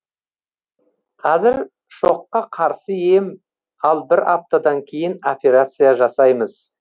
қазір шокка қарсы ем ал бір аптадан кейін операция жасаймыз